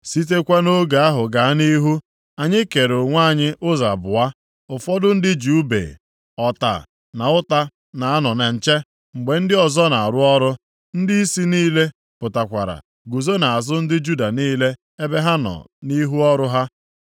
Sitekwa nʼoge ahụ gaa nʼihu, anyị kere onwe anyị ụzọ abụọ. Ụfọdụ ndị ji ùbe, ọta na ụta na-anọ na nche mgbe ndị ọzọ na-arụ ọrụ. Ndịisi niile pụtakwara guzo nʼazụ ndị Juda niile ebe ha nọ nʼihu ọrụ ha.